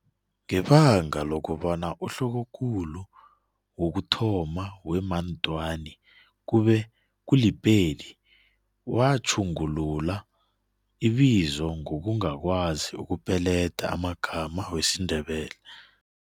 Ngebanga lokobana uhlokokulu wokuthoma we-Mantwani kwabe kuli-Pedi, watjhungulula ibizo ngokungakwazi ukupeleda amagama wesiNdebele.